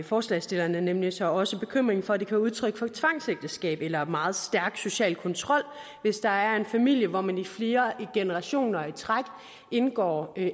forslagsstillerne nemlig så også bekymringen for at det kan være udtryk for tvangsægteskab eller meget stærk social kontrol hvis der er en familie hvor man i flere generationer i træk indgår